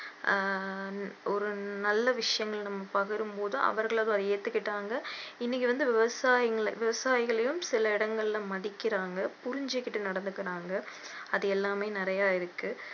ஆஹ் ஒரு நல்ல விஷயம் இன்னும் பகிரும் போது அவர்கள் அதை ஏத்துகிட்டாங்க இன்னைக்கி வந்து விவசாய~ விவசாயிகளையும் சில இடங்களில மதிக்கிறாங்க புரிஞ்சிகிட்டு நடந்துக்கிறாங்க அது எல்லாமே நிறைய இருக்கு